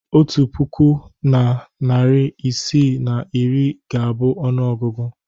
Otu puku na narị isii na iri ga-abụ ọnụọgụgụ.